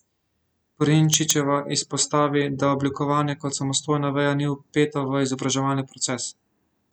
Prinčičeva izpostavi, da oblikovanje kot samostojna veja ni vpeto v izobraževalni proces.